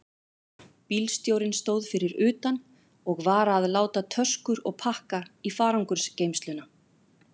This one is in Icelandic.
Bílstjórinn stóð fyrir utan og var að láta töskur og pakka í farangursgeymsluna.